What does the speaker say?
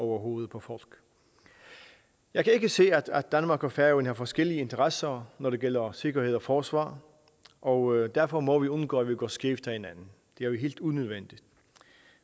over hovedet på folk jeg kan ikke se at at danmark og færøerne har forskellige interesser når det gælder sikkerhed og forsvar og derfor må vi undgå at vi går skævt af hinanden det er jo helt unødvendigt